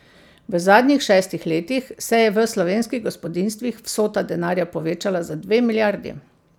V zadnjih šestih letih se je v slovenskih gospodinjstvih vsota denarja povečala za dve milijardi.